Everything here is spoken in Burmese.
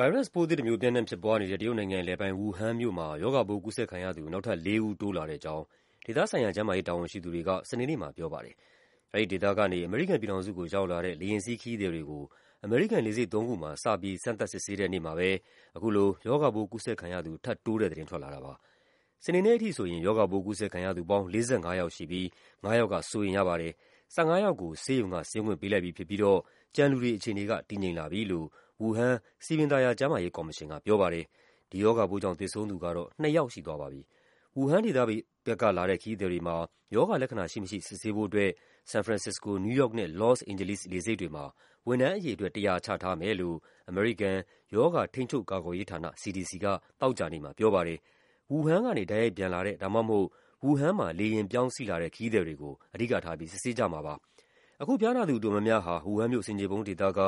ဗိုင်းရပ်စ်ပိုးသစ်တမျိုး ပျံ့နှံ့ဖြစ်ပွားနေတဲ့ တရုတ်နိုင်ငံအလယ်ပိုင်း ဝူဟမ်မြို့မှာ ရောဂါပိုး ကူးစက်ခံရသူ နောက်ထပ်လေးဦး တိုးလာတဲ့အကြောင်း ဒေသဆိုင်ရာ ကျန်းမာရေး တာဝန်ရှိသူတွေက စနေနေ့မှာ ပြောပါတယ်။ အဲဒီဒေသကနေ အမေရိကန်ပြည်ထောင်စုကို ရောက်လာတဲ့ လေယာဉ်စီး ခရီးသည်တွေကို အမေရိကန် လေဆိပ်သုံးခုမှာ စပြီး စမ်းသပ်စစ်ဆေးတဲ့နေ့မှာပဲ အခုလို ရောဂါပိုးကူးစက်ခံရသူ ထပ်တိုးတဲ့သတင်း ထွက်လာတာပါ။ စနေနေ့ထိဆိုရင် ရောဂါပိုး ကူးစက်ခံရသူပေါင်း ၄၅ ယောက်ရှိပြီး ၅ ယောက်က စိုးရိမ်ရပါတယ်။ ၁၅ ယောက်ကို ဆေးရုံက ဆင်းခွင့်ပေးလိုက်ပြီဖြစ်ပြီးတော့ ကျန်လူတွေအခြေအနေက တည်ငြိမ်လာပြီလို့ ဝူဟမ် စည်ပင်သာယာ ကျန်းမာရေးကော်မရှင်က ပြောပါတယ်။ သေဆုံးသူကတော့ နှစ်ယောက်ရှိသွားပါပြီ။ ဝူဟမ်ဒေသဘက်ကလာတဲ့ ခရီးသည်တွေမှာ ရောဂါလက္ခဏာ ရှိမရှိ စစ်ဆေးဖို့အတွက် ဆန်ဖရန်စစ္စကို၊ နယူးယောက်နဲ့ လော့စ်အိန်ဂျလိစ် လေဆိပ်တွေမှာ ဝန်ထမ်းအရေအတွက် ၁၀၀ ချထားမယ်လို့ အမေရိကန် ရောဂါထိန်းချုပ်ကာကွယ်ရေးဌာန (CDC) က သောကြာနေ့မှာ ပြောပါတယ်။ ဝူဟမ်ကနေ တိုက်ရိုက်ပျံလာတဲ့ ဒါမှမဟုတ် ဝူဟမ်မှာ လေယာဉ်ပြောင်းစီးလာတဲ့ ခရီးသည်တွေကို အဓိကထားပြီး စစ်ဆေးကြမှာပါ။ အခု ဖျားနာသူ အတော်များများဟာ ဝူဟမ်မြို့ ဆင်ခြေဖုံးဒေသက